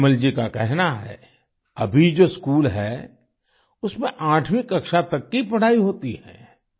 तायम्मल जी का कहना है अभी जो स्कूल है उसमें 8वीं कक्षा तक की पढ़ाई होती है